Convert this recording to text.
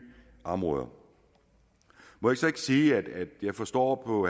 områder må jeg så ikke sige at jeg forstår på